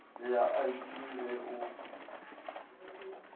le ya id ge o